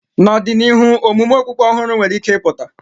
N'ọdịnihu, omume okpukpe ọhụrụ nwere ike ịpụta.